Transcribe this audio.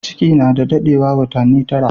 Ciki na dadewa watani tara.